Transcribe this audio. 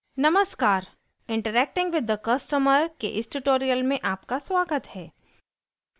नमस्कार interacting with the customer के इस ट्यूटोरियल में आपका स्वागत है